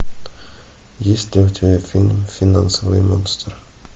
есть ли у тебя фильм финансовый монстр